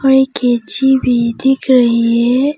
और एक कैची भी दिख रही है।